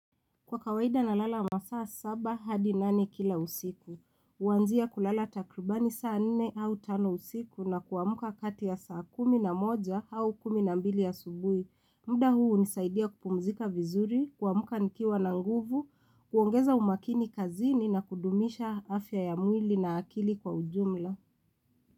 Kwa kawaida na lala masaa saba hadi nane kila usiku, huanzia kulala takrbani saa nne au tano usiku na kuamuka kati ya saa kumi na moja hau kumi na mbili ya asubuhi. Mda huu hunisaidia kupumzika vizuri, kuamka nikiwa na nguvu, kuongeza umakini kazini na kudumisha afya ya mwili na akili kwa ujumla.